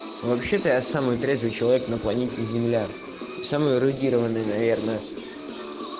вообще-то я самый красивый человек на планете земля самые эрудированные наверное